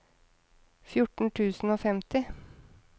fjorten tusen og femti